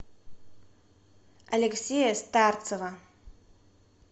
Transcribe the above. алексея старцева